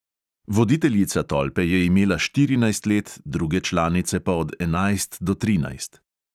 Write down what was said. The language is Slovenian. Voditeljica tolpe je imela štirinajst let, druge članice pa od enajst do trinajst.